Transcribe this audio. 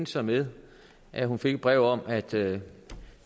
så med at hun fik et brev om at det